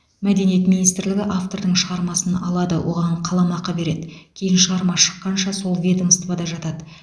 мәдениет министрлігі автордың шығармасын алады оған қаламақы береді кейін шығарма шыққанша сол ведомствода жатады